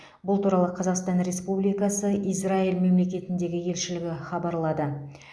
бұл туралы қазақстан республикасы израиль мемлекетіндегі елшілігі хабарлады